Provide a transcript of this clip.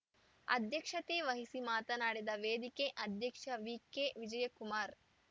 ಅಧ್ಯಕ್ಷತೆ ವಹಿಸಿ ಮಾತನಾಡಿದ ವೇದಿಕೆ ಅಧ್ಯಕ್ಷ ವಿಕೆವಿಜಯಕುಮಾರ್‌